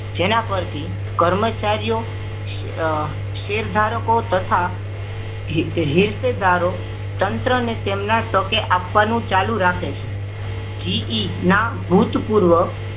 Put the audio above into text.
જેના પર થી કર્મચારી શેરધારકો તથા હીશધારો તંત્રને તેમના ટકે આપવાનું ચાલુ રાખે છે જીઈ ના ભૂતપૂર્વ